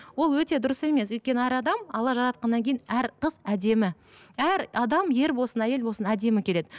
ол өте дұрыс емес өйткені әр адам алла жаратқаннан кейін әр қыз әдемі әр адам ер болсын әйел болсын әдемі келеді